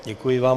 Děkuji vám.